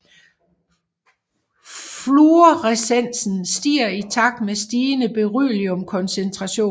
Fluorescensen stiger i takt med stigende berylliumkoncentration